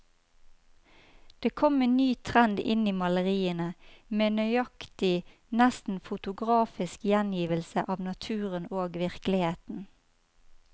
Det kom en ny trend inn i maleriene, med nøyaktig, nesten fotografisk gjengivelse av naturen og virkeligheten.